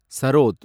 sarod